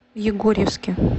егорьевске